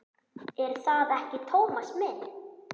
Er það ekki, Tómas minn?